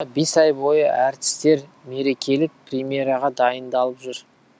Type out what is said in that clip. бес ай бойы әртістер мерекелік премьераға дайындалып жүр